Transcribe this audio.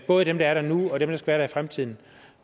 både dem der er der nu og dem der skal være fremtiden